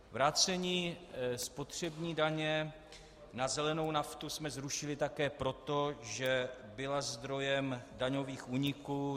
Vrácení spotřební daně na zelenou naftu jsme zrušili také proto, že byla zdrojem daňových úniků.